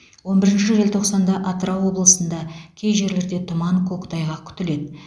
он бірінші желтоқсанда атырау облысында кей жерлерде тұман көктайғақ күтіледі